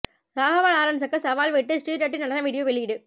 ராகவா லாரன்ஸுக்கு சவால் விட்டு ஸ்ரீ ரெட்டி நடன வீடியோ வெளியீடு